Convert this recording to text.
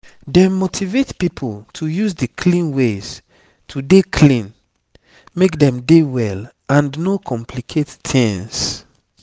dem motivate pipo to use di clean ways to dey clean make dem dey well and no complicate tings